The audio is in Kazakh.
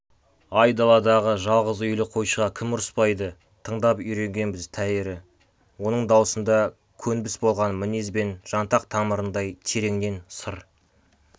ай даладағы жалғыз үйлі қойшыға кім ұрыспайды тыңдап үйренгенбіз тәйірі оның даусында көнбіс болған мінез бен жантақ тамырындай тереңнен сыр